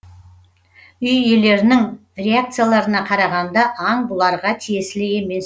үй иелерінің реакцияларына қарағанда аң бұларға тиесілі емес